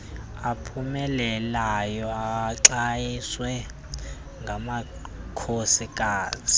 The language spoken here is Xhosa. aphumeleleyo axhaswe ngamakhosikazi